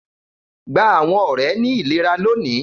Gba àwọn ọrẹ ni ilera lòní!